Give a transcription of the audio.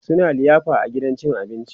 suna liyafa a gidan cin abinci